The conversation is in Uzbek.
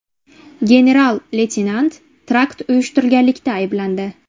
General-leytenant terakt uyushtirganlikda ayblandi .